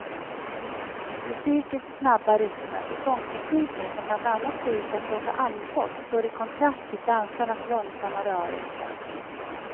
Musikens snabba rytmer och sångtekniken som bland annat går ut på att låta andfådd står i kontrast till dansarnas långsamma rörelser.